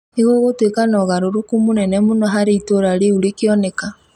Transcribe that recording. nĩ gugutuĩka na ũgarũrũku mũnene mũno harĩ itũũra rĩu rĩkioneka.